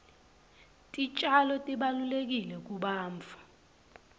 titjalo tibalulekile kubantfu